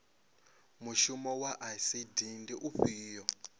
mushumo wa icd ndi ufhio